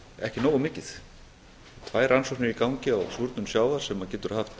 ekki nógu mikið tvær rannsóknir í gangi á súrnun sjávar sem getur haft